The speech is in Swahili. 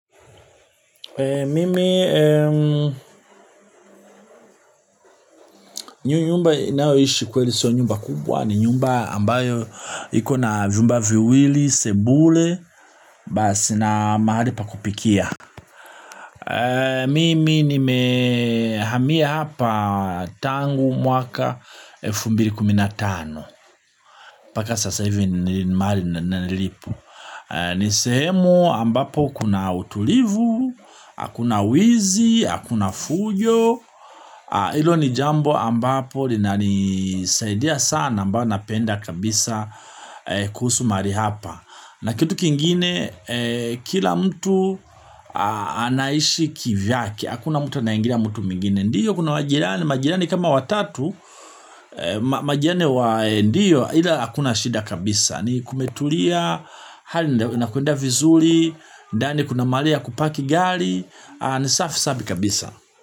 Mimi, nyumba ninayoishi kweli sio nyumba kubwa ni nyumba ambayo ikona vyumba viwili, sebule, basi na mahali pa kupikia. Mimi nimehamia hapa tangu mwaka elfu mbiri kumi na tano. Mbaka sasa hivi ni mahali nilipo. Ni sehemu ambapo kuna utulivu, hakuna wizi, hakuna fujo. Hilo ni jambo ambapo linanisaidia sana ambayo napenda kabisa kuhusu mahali hapa na kitu kingine kila mtu anaishi kivyake hakuna mtu anayiengirlia mtu mwingine ndiyo kuna majirani majirani kama watatu majirani wa ndiyo ila hakuna shida kabisa ni kumetulia hali inakwenda vizuri ndani kuna mahali ya kupaki gali ni safi safi kabisa.